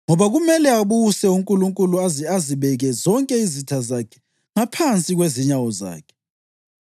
Ngoba kumele abuse uNkulunkulu aze azibeke zonke izitha zakhe ngaphansi kwezinyawo zakhe.